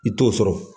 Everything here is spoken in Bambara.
I t'o sɔrɔ